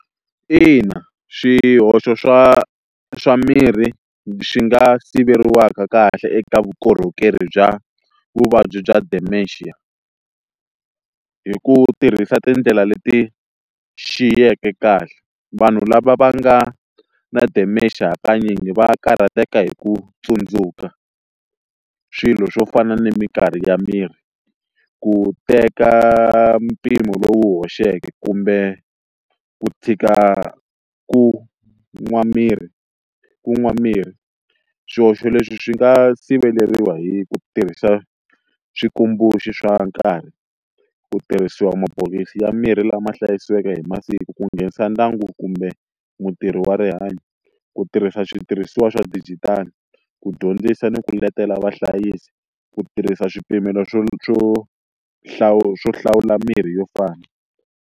Ina, xihoxo swa swa mirhi swi nga siveriwa kahle eka vukorhokeri bya vuvabyi bya dementia hi ku tirhisa tindlela leti xiyeke kahle vanhu lava va nga na dementia hakanyingi va karhateka hi ku tsundzuka swilo swo fana ni mikarhi ya miri ku teka mpimo lowu hoxeke kumbe ku tshika ku nwa mirhi ku nwa mirhi swihoxo leswi swi nga siveriwa hi ku tirhisa switumbuluxi swa nkarhi ku tirhisiwa mabokisi ya mirhi lama hlayisiweke eka hi masiku ku nghenisa ndyangu kumbe mutirhi wa rihanyo ku tirhisa switirhisiwa swa dijitali ku dyondzisa ni ku letela vahlayisi ku tirhisa swipimelo swo swo swo hlawula mirhi yo fana.